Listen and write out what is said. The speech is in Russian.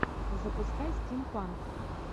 запускай стимпанк